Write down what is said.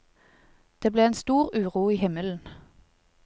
Det ble en stor uro i himmelen.